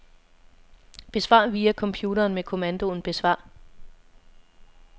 Besvar via computeren med kommandoen besvar.